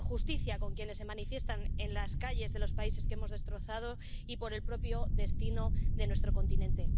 Por justicia con quienes se manifiestan en las calles de los países que hemos destrozado, y por el propio destino de nuestro continente.